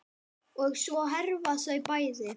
Og svo hverfa þau bæði.